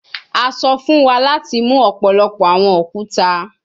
A sọ fun wa lati mu ọpọlọpọ awọn okuta